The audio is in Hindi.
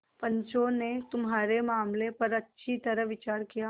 पंचों ने तुम्हारे मामले पर अच्छी तरह विचार किया